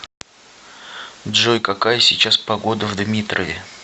джой какая сейчас погода в дмитрове